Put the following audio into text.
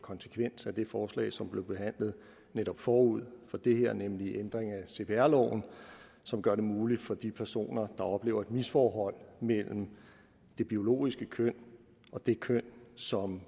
konsekvens af det forslag som blev behandlet forud for det her nemlig ændringen af cpr loven som gør det muligt for de personer der oplever et misforhold mellem det biologiske køn og det køn som